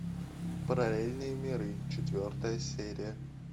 параллельные миры четвертая серия